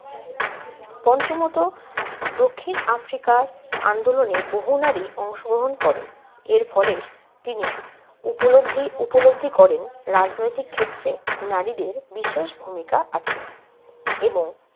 পঞ্চমত, দক্ষিণ আফ্রিকার আন্দোলনে বহু নারী অংশগ্রহণ করেন। এর ফলে তিনি উপলব্ধি উপলব্ধি করেন রাজনৈতিক ক্ষেত্রে নারীদের বিশেষ ভূমিকা আছে এবং